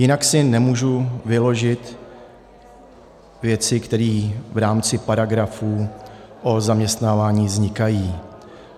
Jinak si nemůžu vyložit věci, které v rámci paragrafů o zaměstnávání vznikají.